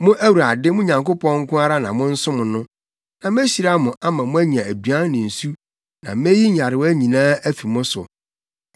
Mo Awurade, mo Nyankopɔn nko ara na monsom no. Na mehyira mo ama moanya aduan ne nsu na meyi nyarewa nyinaa afi mo so.